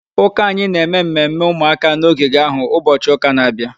Ụka anyị na-eme mmemme ụmụaka na ogige ahụ ụbọchị ụka na-abịa.